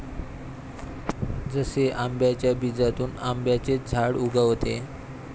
जसे आंब्याच्या बीजातून आंब्याचेच झाड उगवते.